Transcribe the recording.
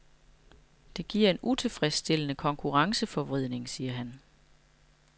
Det giver en utilfredsstillende konkurrenceforvridning, siger han.